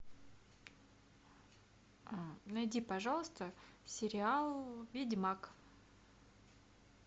найди пожалуйста сериал ведьмак